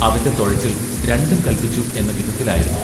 അവന്റെ തൊഴച്ചിൽ രണ്ടും കല്പിച്ചു എന്ന വിധത്തിലായിരുന്നു.